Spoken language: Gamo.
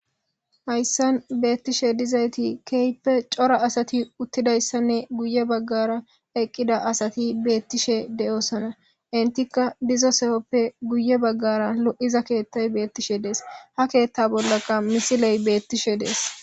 Hayssan bettishe dizaytti kehippe cora asati uttidayssanne guye bagara eqqida asatinne bettishe de'osonna.enttika diza sohoppe guye bagara lo'iza keththay bettishe de'es.ha keththa bollaka misiley bettishe de'es. ..